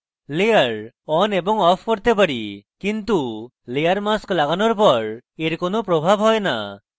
adding layer on এবং off করতে পারি কিন্তু layer mask লাগানোর পর এর কোনো প্রভাব হয় no